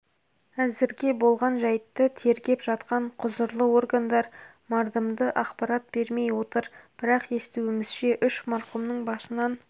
әзірге болған жәйтті тергеп жатқан құзырлы органдар мардымды ақпарат бермей отыр бірақ естуімізше үш марқұмның басынан